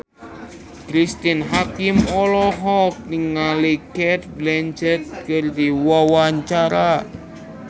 Cristine Hakim olohok ningali Cate Blanchett keur diwawancara